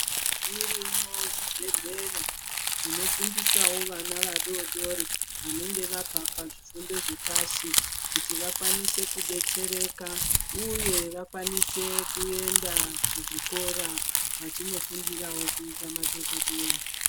Zviroyo zvibhehlera zvinofundisawo vana vadodori vanenge vabva pazvifundo zvepashi kuti vakwanise kudetsereka uye vakwanise kuenda kuzvikora vachinofundirawo kuita madhokodheya